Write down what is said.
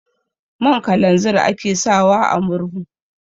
Man kalanzir ake sawa a murhu.